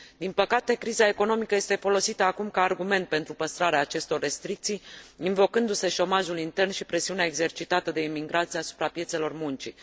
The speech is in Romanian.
Din păcate, criza economică este folosită acum ca argument pentru păstrarea acestor restricții, invocându se șomajul intern și presiunea exercitată de imigranți asupra piețelor muncii.